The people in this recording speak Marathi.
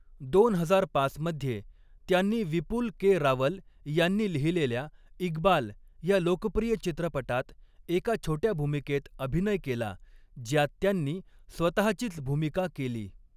दोन हजार पाच मध्ये, त्यांनी विपुल के. रावल यांनी लिहिलेल्या इक्बाल या लोकप्रिय चित्रपटात एका छोट्या भूमिकेत अभिनय केला, ज्यात त्यांनी स्वतहाचीच भूमिका केली.